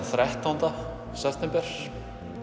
þrettánda september